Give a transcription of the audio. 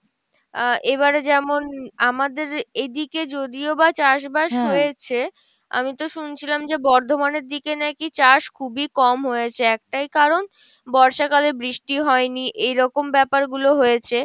আহ এবারে যেমন আমাদের এইদিকে যদিও বা চাস বাস হয়েছে, আমি তো শুনছিলাম যে, বর্ধমানের দিকে নাকি চাস খুবিই কম হয়েছে একটাই কারন বর্ষা কালে বৃষ্টি হয়নি এইরকম ব্যাপার গুলো হয়েছে